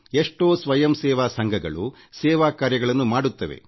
ಎಷ್ಟೋ ಸ್ವಯಂ ಸೇವಾ ಸಂಘಗಳು ಸೇವಾ ಕಾರ್ಯಗಳನ್ನು ಮಾಡುತ್ತವೆ